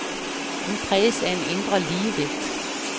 Hun præges af en indre ligevægt.